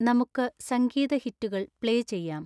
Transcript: നമുക്ക് സംഗീത ഹിറ്റുകൾ പ്ലേ ചെയ്യാം